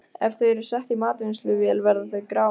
Ef þau eru sett í matvinnsluvél verða þau grá.